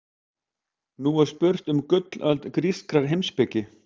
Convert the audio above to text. Nú er spurt um gullöld grískrar heimspeki.